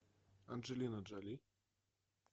анджелина джоли